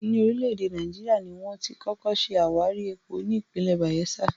Ní orílẹ̀ èdè Náíjà, ni wón ti kọ́kọ́ ṣe àwárí epo ní ìpínlẹ̀ Bàyẹ́sà